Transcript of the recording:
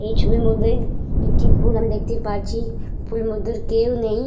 এই ছবির মধ্যে একটি পুল আমি দেখতে পাচ্ছি। পুল মধ্যে কেউ নেই।